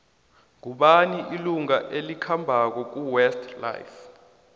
ngubani ilunga elikhambako kuwest life